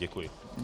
Děkuji.